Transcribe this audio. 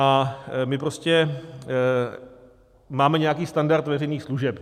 A my prostě máme nějaký standard veřejných služeb.